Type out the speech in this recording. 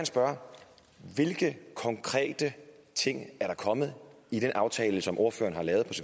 spørge hvilke konkrete ting er der kommet i den aftale som ordføreren har lavet